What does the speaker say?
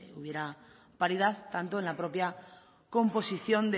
hubiera paridad tanto en la propia composición